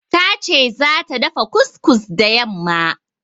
Ta ce zata dafa kus-kus da yamma.